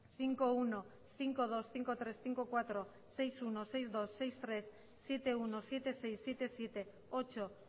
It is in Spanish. cinco punto uno cinco punto dos cinco punto tres cinco punto cuatro seis punto uno seis punto dos seis punto tres siete punto uno siete punto seis siete punto siete ocho